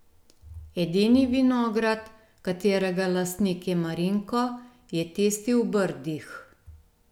Edini vinograd, katerega lastnik je Marinko, je tisti v Brdih.